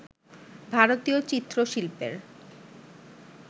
ভারতীয় চিত্র-শিল্পের